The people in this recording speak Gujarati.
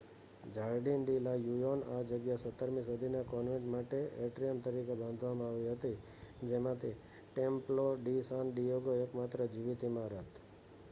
જાર્ડિન ડી લા યુનિયોન આ જગ્યા 17મી સદીના કોન્વેન્ટ માટે એટ્રીયમ તરીકે બાંધવામાં આવી હતી જેમાંથી ટેમ્પ્લો ડી સાન ડિએગો એકમાત્ર જીવિત ઇમારત